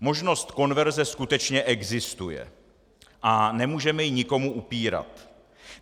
Možnost konverze skutečně existuje a nemůžeme ji nikomu upírat.